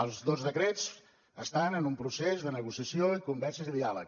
els dos decrets estan en un procés de negociació i converses i diàleg